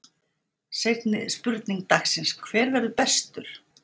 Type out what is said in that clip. Seinni spurning dagsins: Hver verður bestur?